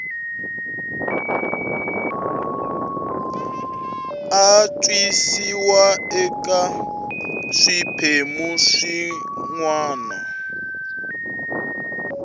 antswisiwa eka swiphemu swin wana